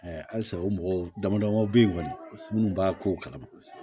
halisa o mɔgɔw dama damaw bɛ ye kɔni minnu b'a ko kalama